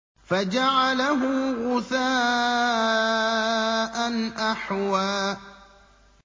فَجَعَلَهُ غُثَاءً أَحْوَىٰ